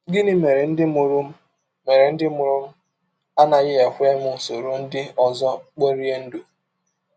Gịnị Mere Ndị Mụrụ Mere Ndị Mụrụ m Anaghị Ekwe M Soro Ndị Ọzọ Kporie Ndụ?